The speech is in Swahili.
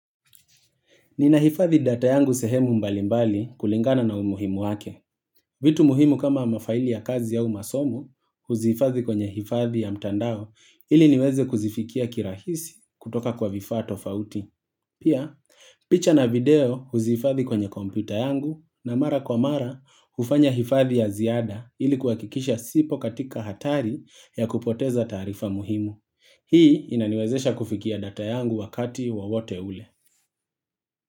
Ninahifadhi data yangu sehemu mbalimbali kulingana na umuhimu wake. Vitu muhimu kama mafaili ya kazi au masomo huzihifadhi kwenye hifadhi ya mtandao ili niweze kuzifikia kirahisi kutoka kwa vifaa tofauti. Pia, picha na video huzihifadhi kwenye kompyuta yangu na mara kwa mara hufanya hifadhi ya ziada ili kuhakikisha sipo katika hatari ya kupoteza taarifa muhimu. Hii inaniwezesha kufikia data yangu wakati wowote ule.